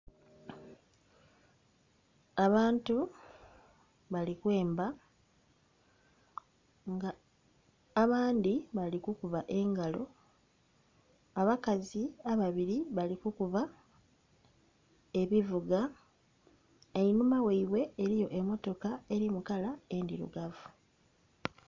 Abantu bali kwemba nga abandhi bali kukuba engalo. Abakazi ababiri bali kukuba ebivuga. Einhuma ghaibwe eliyo emmotoka eli mu kala endhirugavu.